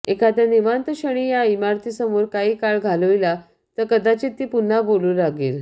एखाद्या निवांतक्षणी या इमारती समोर काही काळ घालविला तर कदाचित ती पुन्हा बोलू लागेल